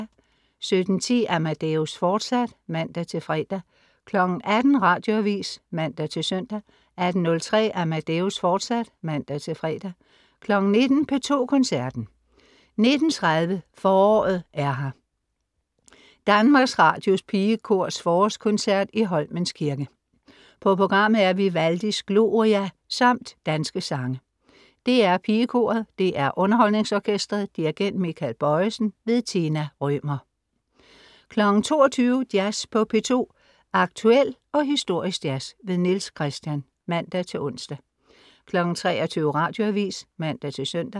17.10 Amadeus, fortsat (man-fre) 18.00 Radioavis (man-søn) 18.03 Amadeus, fortsat (man-fre) 19.00 P2 Koncerten. 19.30 Foråret er her! DR PigeKorets Forårskoncert i Holmens Kirke. På programmet er Vivaldis Gloria samt danske sange. DR PigeKoret. DR UnderholdningsOrkestret. Dirigent: Michael Bojesen. Tina Rømer 22.00 Jazz på P2. Aktuel og historisk jazz. Niels Christian (man-ons) 23.00 Radioavis (man-søn)